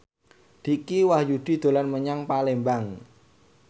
Dicky Wahyudi dolan menyang Palembang